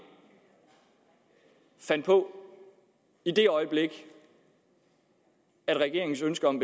fandt på i det øjeblik regeringens ønske om